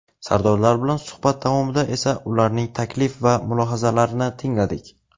Sardorlar bilan suhbat davomida esa ularning taklif va mulohazalarini tingladik.